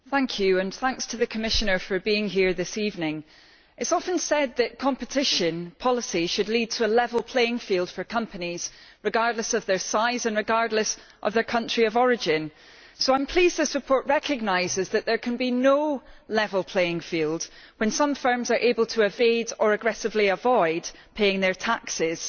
Madam President, I would like to thank the Commissioner for being here this evening. It is often said that competition policy should lead to a level playing field for companies, regardless of their size and regardless of their country of origin, so I am pleased this report recognises that there can be no level playing field when some firms are able to evade or aggressively avoid paying their taxes.